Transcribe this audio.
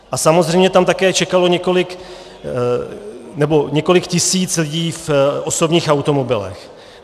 A samozřejmě tam také čekalo několik tisíc lidí v osobních automobilech.